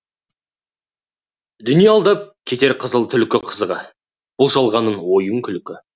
дүние алдап кетер қызыл түлкі қызығы бұл жалғанның ойын күлкі